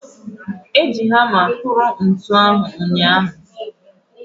Eji hamma kpụrụ ntunu mbọ ahụ ụnyahụ.